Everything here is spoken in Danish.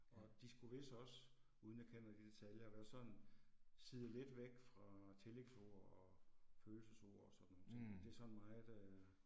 Og de skulle vis også, uden jeg kender det i detaljer, være sådan siet lidt væk fra tillægsord og følelsesord og sådan nogle ting, det er sådan meget øh